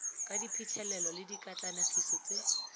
ka diphitlhelelo le dikatlanegiso tse